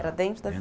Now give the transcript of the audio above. Era dentro da